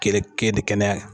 Kere ke de kɛnɛya la